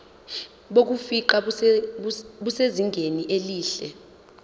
bokufingqa busezingeni elihle